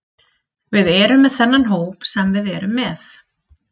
Við erum með þennan hóp sem við erum með.